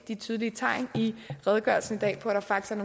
tydelige tegn i redegørelsen i dag på at der faktisk